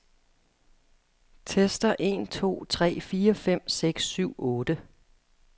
Tester en to tre fire fem seks syv otte.